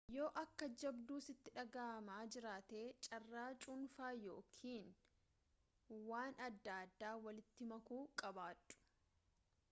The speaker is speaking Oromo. yoo akka jabduu sitti dhagahamaa jiraate carraa cuunfaa yookaan waan adda addaa walitti makuu qabaadhu